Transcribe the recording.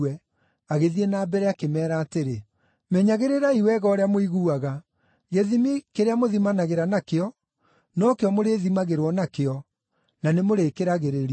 Agĩthiĩ na mbere, akĩmeera atĩrĩ, “Menyagĩrĩrai wega ũrĩa mũiguaga. Gĩthimi kĩrĩa mũthimanagĩra nakĩo, no kĩo mũrĩthimagĩrwo nakĩo, na nĩmũrĩkĩragĩrĩrio.